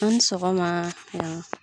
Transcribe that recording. An ni sɔgɔma yan.